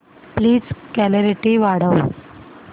please clarity वाढव